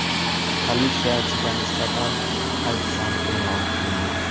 Politsiyachiga nisbatan hayfsan e’lon qilingan.